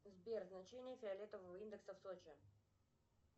сбер значение фиолетового индекса в сочи